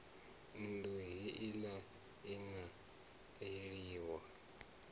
nnḓu heila i a eliwa